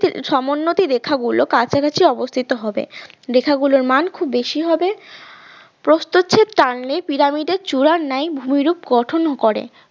সমোন্নতি রেখা গুলো কাছাকাছি অবস্থিত হবে লেখাগুলোর মান খুব বেশি হবে প্রস্থচ্ছেদ টানলে পিরামিডের চূড়ার ন্যায় ভূমিরূপ গঠন করে।